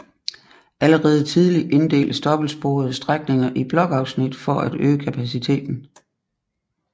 Allerede tidligt inddeltes dobbeltsporede strækninger i blokafsnit for at øge kapaciteten